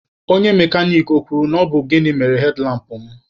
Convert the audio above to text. Onye mekanik ọ kwuru na ọ bụ gịnị mere hedlampụ mụ?